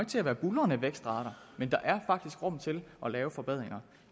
til at være buldrende vækstrater men der er faktisk rum til at lave forbedringer